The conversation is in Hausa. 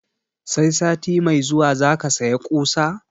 Sai sati mai zuwa zaka saya ƙusa?